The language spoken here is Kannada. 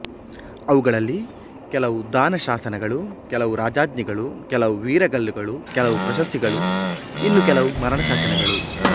ಅವುಗಳಲ್ಲಿ ಕೆಲವು ದಾನಶಾಸನಗಳು ಕೆಲವು ರಾಜಾಜ್ಞೆಗಳು ಕೆಲವು ವೀರಗಲ್ಲುಗಳು ಕೆಲವು ಪ್ರಶಸ್ತಿಗಳು ಇನ್ನೂ ಕೆಲವು ಮರಣಶಾಸನಗಳು